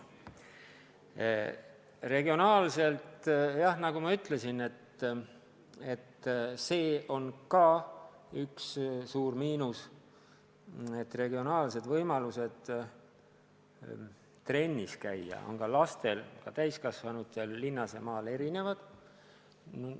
Mis puutub regioonidesse, siis nagu ma ütlesin, see on ka üks suur miinus, et võimalused trennis käia on nii lastel kui ka täiskasvanutel linnas ja maal erinevad.